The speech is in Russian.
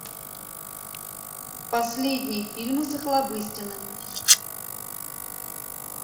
последние фильмы с охлобыстиным